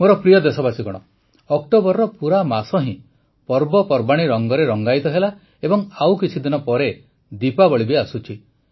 ମୋର ପ୍ରିୟ ଦେଶବାସୀଗଣ ଅକ୍ଟୋବରର ପୁରା ମାସ ହିଁ ପର୍ବପର୍ବାଣୀ ରଂଗରେ ରଂଗାୟିତ ହେଲା ଏବଂ ଆଉ କିଛିଦିନ ପରେ ଦୀପାବଳି ବି ଆସୁଛି